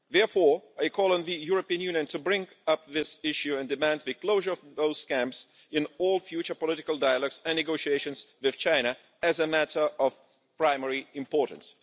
Therefore, I call on the European Union to bring up this issue and demand the closure of those camps in all future political dialogues and negotiations with China as a matter of primary importance.